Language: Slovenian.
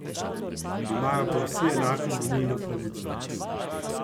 Imajo pa vsi enako volilno pravico!